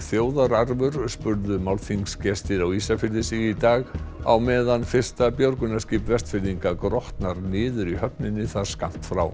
þjóðararfur spurðu málþingsgestir á Ísafirði sig í dag á meðan fyrsta björgunarskip Vestfirðinga grotnar niður í höfninni þar skammt frá